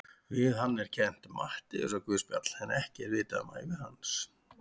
Við hann er kennt Matteusarguðspjall en ekkert er vitað um ævi hans.